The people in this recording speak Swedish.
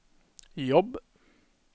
jobb